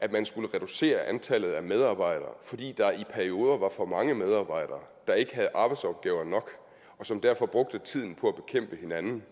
at man skulle reducere antallet af medarbejdere fordi der i perioder var for mange medarbejdere der ikke havde arbejdsopgaver nok og som derfor brugte tiden på at bekæmpe hinanden